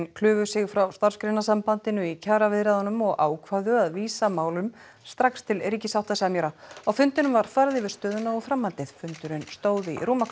klufu sig frá Starfsgreinasambandinu í kjaraviðræðunum og ákváðu að vísa málum strax til ríkissáttasemjara á fundinum var farið yfir stöðuna og framhaldið fundurinn stóð í rúma